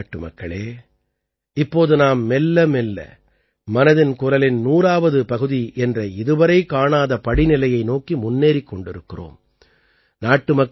எனதருமை நாட்டுமக்களே இப்போது நாம் மெல்லமெல்ல மனதின் குரலின் 100ஆவது பகுதி என்ற இதுவரை காணாத படிநிலையை நோக்கி முன்னேறிக் கொண்டிருக்கிறோம்